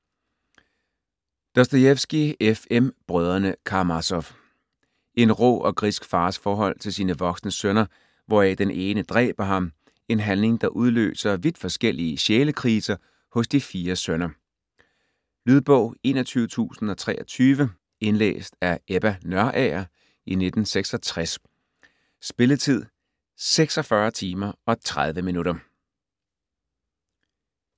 Dostojevskij, F. M.: Brødrene Karamassof En rå og grisk fars forhold til sine voksne sønner hvoraf den ene dræber ham - en handling der udløser vidt forskellige sjælekriser hos de fire sønner. Lydbog 21023 Indlæst af Ebba Nørager, 1966. Spilletid: 46 timer, 30 minutter.